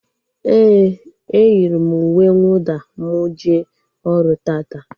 Éè, e yiri m uwe nwụda m jee ọrụ taata